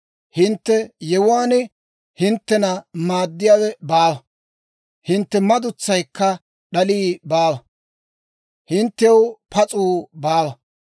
Hintte yewuwaan hinttena maaddiyaawe baawa; hintte madutsaykka d'alii baawa; hinttew pas'uu baawa.